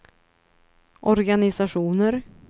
organisationer